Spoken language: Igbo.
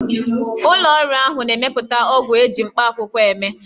Ụlọ ọrụ ahụ na-emepụta ọgwụ ji mkpakwụkwọ eme ya.